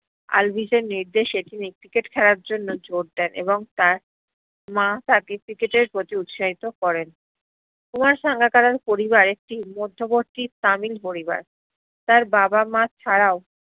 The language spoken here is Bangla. আলভিসের নির্দেশে তিনি cricket খেলার জ্ন্য় জোর দেন এবং তার মা তাকে cricket এ প্রতি উৎসাহিত করেন কুমার সাঙ্গাকারার পরিবারে মদ্ধবর্তি তামিল পরিবার, তার বাবা মা ছারাও